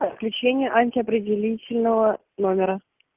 отключение антиопределительного номера